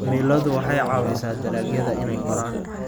Cimiladu waxay caawisaa dalagyada inay koraan.